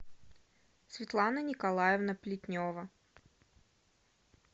светлана николаевна плетнева